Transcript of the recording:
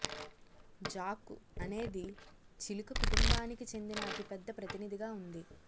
జాకు అనేది చిలుక కుటుంబానికి చెందిన అతి పెద్ద ప్రతినిధిగా ఉంది